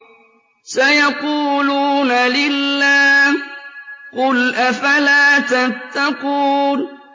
سَيَقُولُونَ لِلَّهِ ۚ قُلْ أَفَلَا تَتَّقُونَ